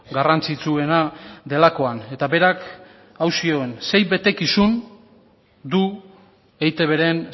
garrantzitsuena delakoan eta berak hau zioen sei betekizun du eitbren